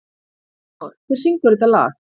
Arnór, hver syngur þetta lag?